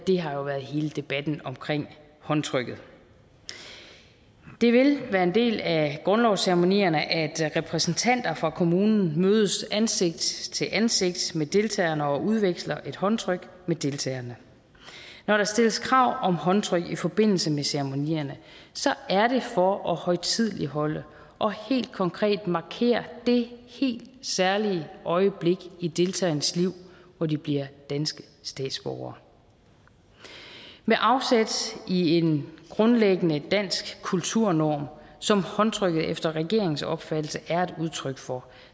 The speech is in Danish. har jo været hele debatten omkring håndtrykket det vil være en del af grundlovsceremonierne at repræsentanter for kommunen mødes ansigt til ansigt med deltagerne og udveksler et håndtryk med deltagerne når der stilles krav om håndtryk i forbindelse med ceremonierne er det for at højtideligholde og helt konkret markere det helt særlige øjeblik i deltagernes liv hvor de bliver danske statsborgere med afsæt i en grundlæggende dansk kulturnorm som håndtrykket efter regeringens opfattelse er et udtryk for